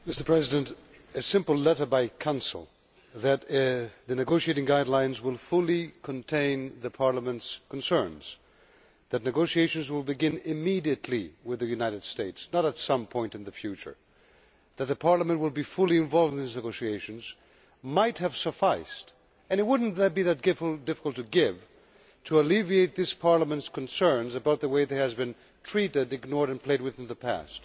Mr President, a simple letter from the Council that the negotiation guidelines will fully contain Parliament's concerns, that negotiations will begin immediately with the United States and not at some point in the future, and that Parliament will be fully involved in these negotiations might have sufficed, and it would not be that difficult to give in order to alleviate this Parliament's concerns about the way it has been treated, ignored and played with in the past.